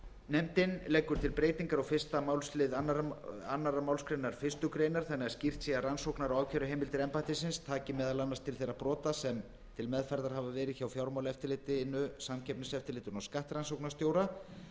nefndin leggur til breytingar á fyrstu málsl annarri málsgrein fyrstu grein þannig að skýrt sé að rannsóknar og ákæruheimildir embættisins taki meðal annars til þeirra brota sem til meðferðar hafa verið hjá fjármálaeftirlitinu samkeppniseftirlitinu og skattrannsóknarstjóra